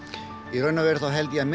í raun og veru held ég að